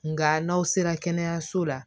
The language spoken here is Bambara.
Nka n'aw sera kɛnɛyaso la